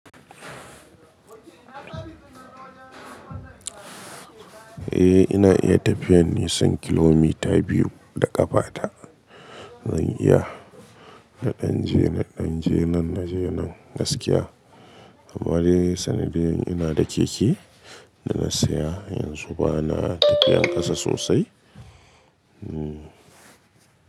Eh ina iya tafiyan nisan kilomita biyu da ƙafa ta. Zan iya na ɗan je, na ɗan je nan, na je nan gaskiya. Amma dai sannu da yin ina da keke da na saya, yanzu bana tafiyan ƙasa sosai. Hmm.